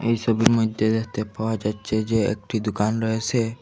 এই সোবির মইধ্যে দেখতে পাওয়া যাচ্ছে যে একটি দুকান রয়েসে।